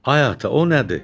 Ay ata, o nədir?